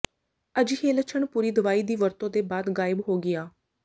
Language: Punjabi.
ਅਜਿਹੇ ਲੱਛਣ ਪੂਰੀ ਦਵਾਈ ਦੀ ਵਰਤੋ ਦੇ ਬਾਅਦ ਗਾਇਬ ਹੋ ਗਿਆ